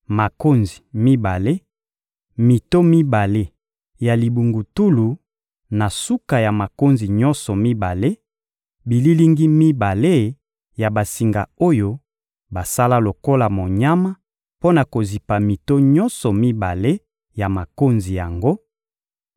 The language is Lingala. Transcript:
makonzi mibale, mito mibale ya libungutulu na suka ya makonzi nyonso mibale, bililingi mibale ya basinga oyo basala lokola monyama mpo na kozipa mito nyonso mibale ya makonzi yango,